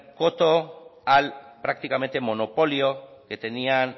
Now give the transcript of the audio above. coto al prácticamente monopolio que tenían